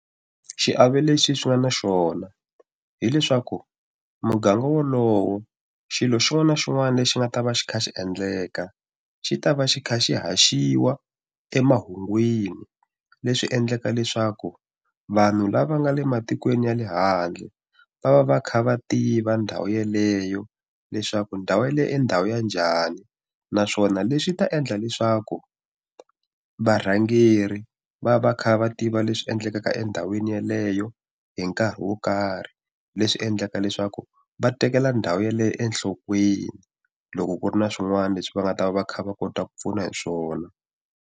Xiave lexi swi nga na xona hileswaku muganga wolowo xilo xin'wana na xin'wana lexi nga ta va xi kha xi endleka xi ta va xi kha xi haxiwa emahungwini leswi endlaka leswaku vanhu lava nga le matikweni ya le handle va va va kha va tiva ndhawu yeleyo leswaku ndhawu ya le endhawu ya njhani naswona leswi ta endla leswaku varhangeri va va kha va tiva leswi endlekaka endhawini yeleyo hi nkarhi wo karhi leswi endlaka leswaku va tekela ndhawu yaleyo enhlokweni loko ku ri na swin'wana leswi va nga ta va va kha va kota ku pfuna hi swona.